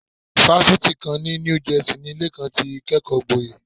Fásitì kan ní New Jersey ni Lékan ti kẹ́kọ̀ọ́gboyè.